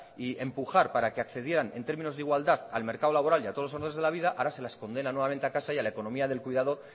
y empujar para que accedieran en términos de igualdad al mercado laboral y a todos los honores de la vida ahora se las condena nuevamente a casa y a la economía del cuidado